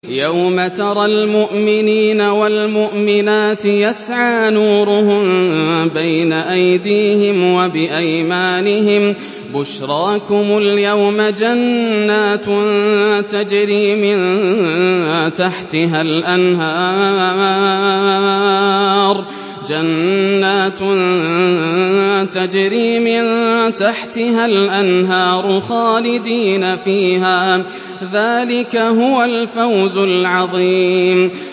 يَوْمَ تَرَى الْمُؤْمِنِينَ وَالْمُؤْمِنَاتِ يَسْعَىٰ نُورُهُم بَيْنَ أَيْدِيهِمْ وَبِأَيْمَانِهِم بُشْرَاكُمُ الْيَوْمَ جَنَّاتٌ تَجْرِي مِن تَحْتِهَا الْأَنْهَارُ خَالِدِينَ فِيهَا ۚ ذَٰلِكَ هُوَ الْفَوْزُ الْعَظِيمُ